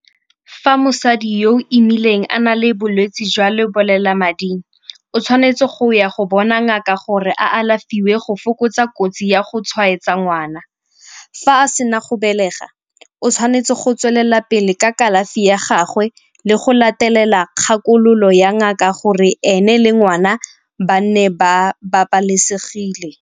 Fa mosadi yo o imileng a na le bolwetsi jwa lebolelamading, o tshwanetse go ya go bona ngaka gore a alafiwe go fokotsa kotsi ya go tshwaetsa ngwana. Fa sena go belega o tshwanetse go tswelela pele ka kalafi ya gagwe le go latelela kgakololo ya ngaka gore ene le ngwana ba nne ba babalesegile.